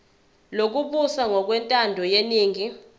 lokubusa ngokwentando yeningi